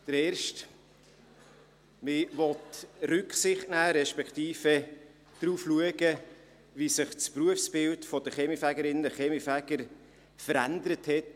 Erstens: Man will Rücksicht nehmen, respektive darauf achten, wie sich das Berufsbild der Kaminfegerinnen und Kaminfeger bis heute verändert hat.